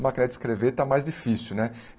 A máquina de escrever está mais difícil, né?